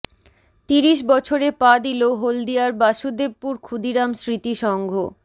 তিরিশ বছরে পা দিল হলদিয়ার বাসুদেবপুর ক্ষুদিরাম স্মৃতি সংঘ